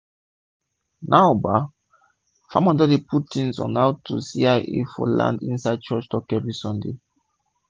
now bah farmers don dey put tins on how to cia for land inside church talk everi sunday